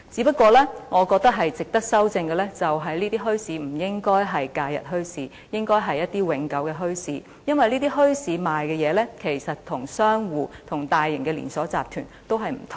不過，我覺得值得修訂的是這些墟市不應該只是假日墟市，而是永久的墟市，因為這些墟市售賣的東西其實跟商戶或大型連鎖集團售賣的不同。